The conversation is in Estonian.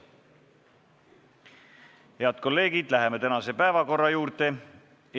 Head kolleegid, läheme tänase päevakorra punktide arutamise juurde.